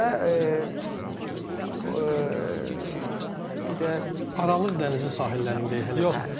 Və bir bir də Aralıq dənizi sahillərindəyik hələ də.